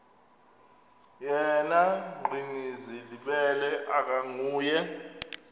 yena gcinizibele akanguye